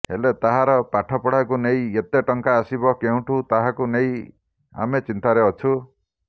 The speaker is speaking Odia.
ହେଲେ ତାହାର ପାଠପଢାକୁ ନେଇ ଏତେ ଟଙ୍କା ଆସିବ କେଉଁଠୁ ତାହାକୁ ନେଇ ଆମେ ଚିନ୍ତାରେ ଅଛୁ